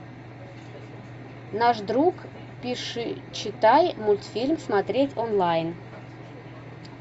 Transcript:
наш друг пиши читай мультфильм смотреть онлайн